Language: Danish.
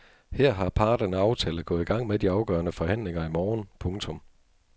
Her har parterne aftalt at gå i gang med de afgørende forhandlinger i morgen. punktum